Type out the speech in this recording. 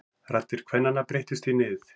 Raddir kvennanna breyttust í nið.